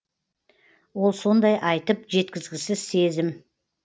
ол сондай айтып жеткізгісіз сезім